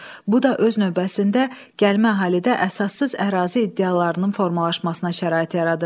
Bu da öz növbəsində gəlmə əhalidə əsassız ərazi iddialarının formalaşmasına şərait yaradırdı.